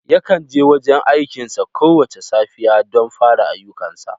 Yakan je gurin aikinsa kowace safiya don fara ayyukansa.